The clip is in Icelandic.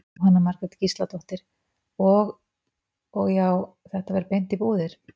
Jóhanna Margrét Gísladóttir: Og, og já, þetta fer beint í búðir?